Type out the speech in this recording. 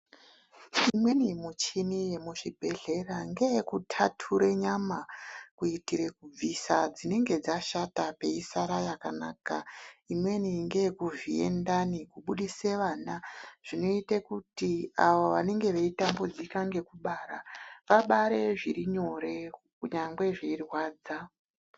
Imweni muchini yemuzvibhedhleya ngeyekuthathure nyama, kuitire kubvisa dzinenge dzashata peisara yakanaka. Imweni ngeyekuvhiye ndani kubudise vana. Zvinoite kuti avo vanenge veitambudzika ngekubara, vabare zviri nyore, kunyangwe zveirwadza.